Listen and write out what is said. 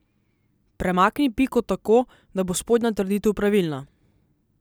Premakni piko tako, da bo spodnja trditev pravilna.